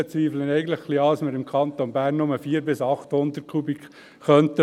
Somit zweifle ich ein wenig an, dass wir im Kanton Bern nur 400 bis 800 Kubikmeter brauchen könnten.